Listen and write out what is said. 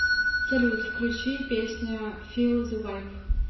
салют включи песня фил зэ вайб